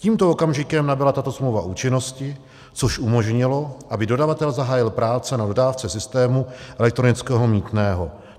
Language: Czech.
Tímto okamžikem nabyla tato smlouva účinnosti, což umožnilo, aby dodavatel zahájil práce na dodávce systému elektronického mýtného.